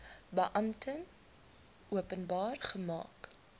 beampte openbaar gemaak